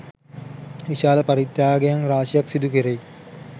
විශාල පරිත්‍යාගයන් රාශියක් සිදු කෙරෙයි.